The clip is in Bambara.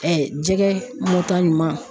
jɛgɛ mɔta ɲuman